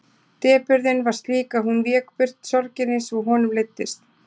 Depurðin var slík að hún vék burt sorginni svo honum leiddist.